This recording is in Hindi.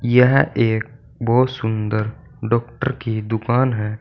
यह एक बहोत सुंदर डॉक्टर की दुकान है।